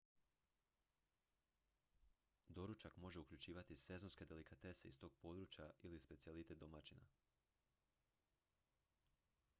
doručak može uključivati sezonske delikatese iz tog područja ili specijalitet domaćina